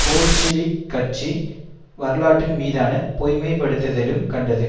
Bolshevik கட்சி வரலாற்றின் மீதான பொய்மைப்படுத்தலிலும் கண்டது